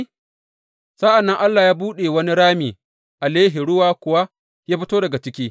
Sa’an nan Allah ya buɗe wani rami a Lehi, ruwa kuwa ya fito daga ciki.